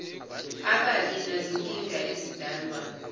ababi nazinkinga ezidalwa